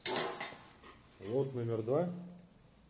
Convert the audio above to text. лот номер два